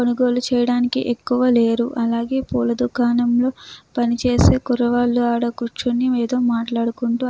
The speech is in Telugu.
కొనుగోలు చేయడానికి ఎక్కువ లేరు అలాగే పూల దుకాణంలో పనిచేసే కురవాళ్ళు ఆడ కూర్చుని ఏదో మాట్లాడుకుంటూ.